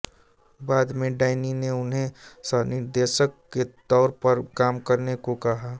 बाद में डैन्नी ने उन्हें सहनिर्देशक के तौर पर काम करने को कहा